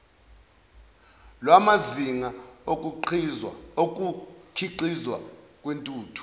lwamazinga okukhiqizwa kwentuthu